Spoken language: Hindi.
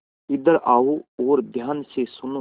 इधर आओ और ध्यान से सुनो